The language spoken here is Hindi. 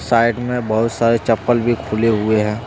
साइड में बहुत सारे चप्पल भी खुले हुए हैं।